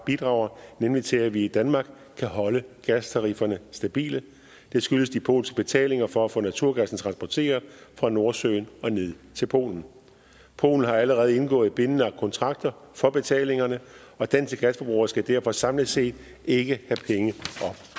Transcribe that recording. bidrager nemlig til at vi i danmark kan holde gastarifferne stabile det skyldes de polske betalinger for at få naturgassen transporteret fra nordsøen og ned til polen polen har allerede indgået bindende kontrakter for betalingerne og danske gasforbrugere skal derfor samlet set ikke